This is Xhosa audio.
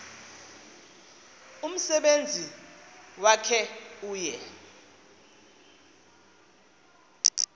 umsebenzi wakhe uye